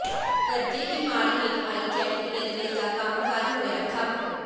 ਕਰਜੇ ਦੀ ਮਾਰ ਹੇਠ ਆਈ ਜੈੱਟ ਏਅਰਵੇਜ਼ ਦਾ ਕੰਮਕਾਜ ਹੋਇਆ ਠੱਪ